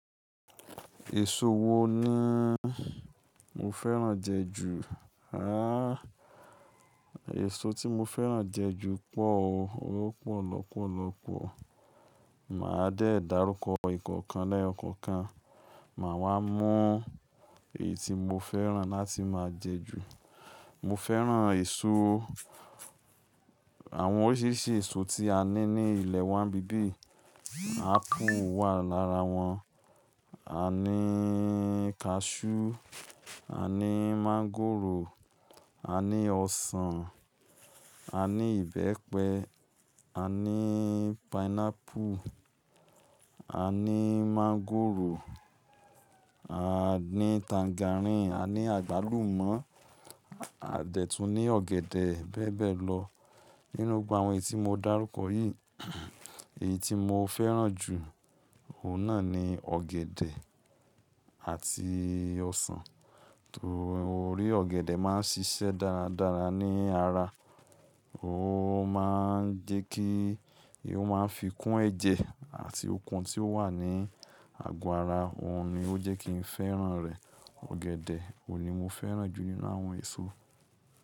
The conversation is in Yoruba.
Èso wo ni mo fẹ́ràn jẹ jù? Àh, èso tí mo fẹ́ràn jẹ jù pọ̀ o. Ó pọ̀ lọ́pọ̀lọ́pọ̀. Màá dé dàrúkọ Ìkọ̀kan lẹ́yọkọ̀kan, màá wá mọ èyí tí mo fẹ́ràn láti máa jẹ jù. Mo fẹ́ràn èso, àwọn oríṣiríṣi èso tí a ní ní ilẹ̀ wa ni ibi biyi, ápù wà lára wọn. A ní kasú, a ní mọ́ngòrò, a ní ọsàn, a ní ìbẹ́pẹ, a ní pineapple, a ní mọ́ngòrò, a ní tangerine, a ní àgbálùmọ́, a dẹ̀ tún ní ọ̀gẹ̀dẹ̀ bẹ́ẹ̀ bẹ́ẹ̀ lọ. Nínú gbogbo àwọn èyí tí mo dárúkọ yìí, èyí tí mo fẹ́ràn jù, òun náà ni ọ̀gẹ̀dẹ̀ àti ọsàn. Tó rí ọ̀gẹ̀dẹ̀ máa ń ṣiṣẹ́ dáradára ní ara. Ó máa ń jẹ kí, ó máa ń fi kún ẹ̀jẹ̀ àti okun tí ó wà ní àgó ara. Òun ni ó jẹ́ kí n fẹ́ràn rẹ̀. Ọ̀gẹ̀dẹ̀ òun ni mo fẹ́ràn jù nínú àwọn èso.